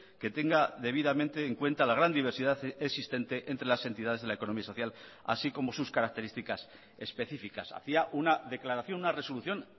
que tenga debidamente en cuenta la gran diversidad existente entre las entidades de la economía social así como sus características específicas hacía una declaración una resolución